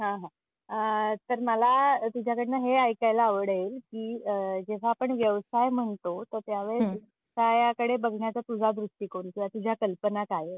हां हां. आह तर मला तुझ्याकडून हे ऐकायला आवडेल की, आह जेव्हा आपण व्यवसाय म्हणतो तर त्यावेळी का याकडे बघण्याचा तुझा दृष्टिकोन किंवा तुझ्या कल्पना काय आहेत?